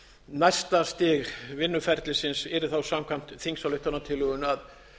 næsta stig vinnuferlisins yrði þá samkvæmt þingsályktunartillögunni að